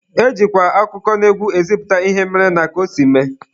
E jikwa akụkọnaegwu ezipụta ihe mere na ka o si mee.